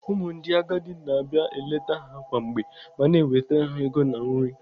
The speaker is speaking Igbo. Ụmụ ndị agadi na-abia eleta ha kwa mgbe ma na-ewetara ha ego na nri.